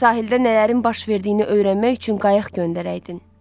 Sahildə nələrin baş verdiyini öyrənmək üçün qayıq göndərəydin.